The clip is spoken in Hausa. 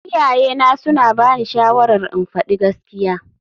Iyayena suna bani shawarar in faɗi gaskiya.